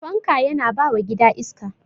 fanka Yana bawa gida iska